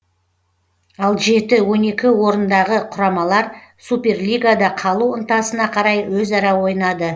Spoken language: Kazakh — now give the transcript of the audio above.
ал жеті он екі орындағы құрамалар суперлигада қалу ынтасына қарай өзара ойнады